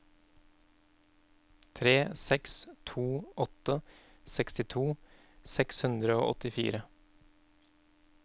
tre seks to åtte sekstito seks hundre og åttifire